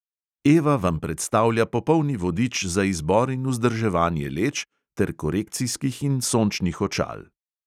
Eva vam predstavlja popolni vodič za izbor in vzdrževanje leč ter korekcijskih in sončnih očal.